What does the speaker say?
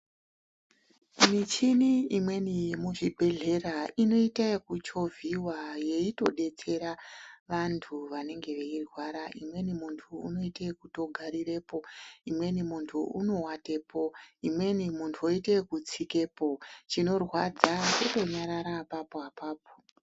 Michini imweni yemuzvibhedhlera inoita yekuchovhiwa yeitidetsera vantu vanenge veirwara amweni antu unoita yekugarirapo imweni muntu unowatepo imweni unoita zvekutsikapo chinorwadza kungonyarara apapo apapo.